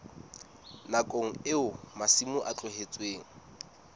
nakong eo masimo a tlohetsweng